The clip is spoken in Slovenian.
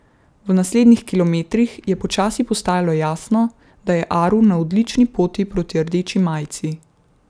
V naslednjih kilometrih je počasi postajalo jasno, da je Aru na odlični poti proti rdeči majici.